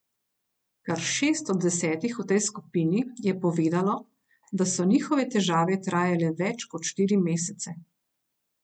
Kar šest od desetih v tej skupini je povedalo, da so njihove težave trajale več kot štiri mesece.